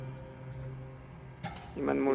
ইমান মোৰ